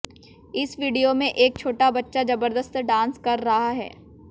इस वीडियो में एक छोटा बच्चा जबरदस्त डांस कर रहा है